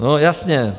No, jasně.